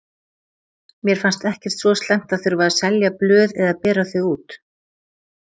Mér fannst ekkert svo slæmt að þurfa að selja blöð eða bera þau út.